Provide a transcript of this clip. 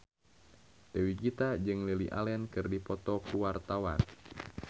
Dewi Gita jeung Lily Allen keur dipoto ku wartawan